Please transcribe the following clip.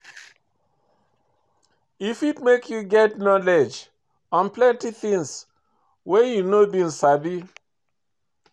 E fit make you get knowledge on plenty things wey you no been sabi